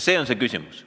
See on küsimus.